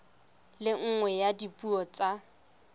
le nngwe ya dipuo tsa